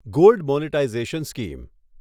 gold monetisation scheme